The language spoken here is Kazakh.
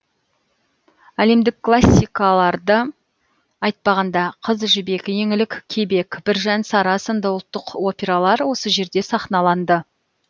әлемдік классикаларды айтпағанда қыз жібек еңлік кебек біржан сара сынды ұлттық опералар осы жерде сахналанды